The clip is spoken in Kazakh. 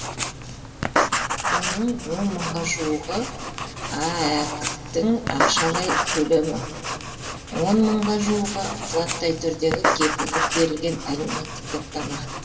оның он мыңға жуығы аәк тің ақшалай төлемі он мыңға жуығы заттай түрдегі кепілдік берілген әлеуметтік топтама